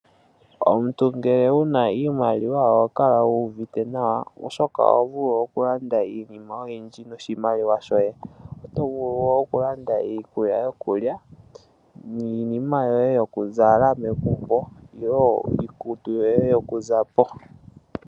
Omuntu ngele wuna iimaliwa oho kala wu uvite nawa oshoka oho vulu oku landa iinima oyindj noshimaliwa shoye. Oto vulu wo oku landa iikulya yokulya niinima yoye yoku zala megumbo niinima yoye yoku zapo.